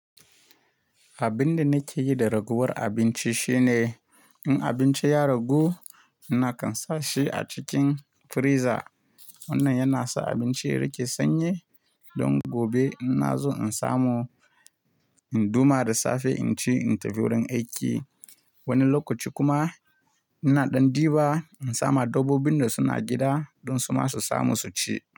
Abin da nake yi da raguwar abinci shine in abinci ya ragu, ina kansa shi a cikin friza. Wannan yana sa abinci ya riƙe sanyi don gobe ina zo in samu in duma da safe in ci in tafi wurin aiki. Wani lokaci kuma ina ɗan diba, in sama dabbobin da suna gida don su ma su samu su ci.